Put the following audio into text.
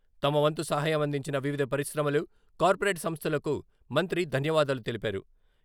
తమ వంతు సహయం అందించిన వివిధ పరిశ్రమలు, కార్పొరేట్ సంస్థలకు మంత్రి ధన్యవాదాలు తెలిపారు.